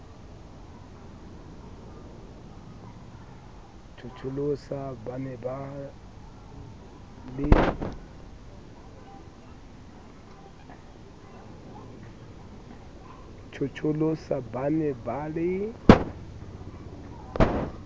tjhotjholosa ba ne ba le